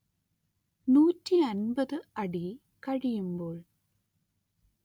നൂറ്റി അന്‍പത്ത് അടി കഴിയുമ്പോൾ